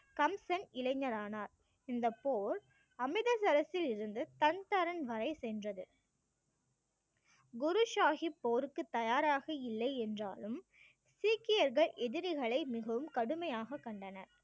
கம்சன் இளைஞன் ஆனார் இந்த போர் அமிர்தசரசிலிருந்து தன் தரன் வரை சென்றது குரு சாஹிப் போருக்கு தயாராக இல்லை என்றாலும் சீக்கியர்கள் எதிரிகளை மிகவும் கடுமையாக கண்டன